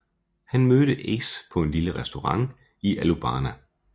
Han mødte Ace på en lille restaurant i Alubarna